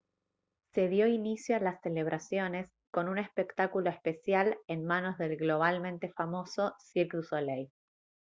se dio inicio a las celebraciones con un espectáculo especial en manos del globalmente famoso cirque du soleil